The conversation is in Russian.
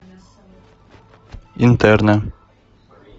интерны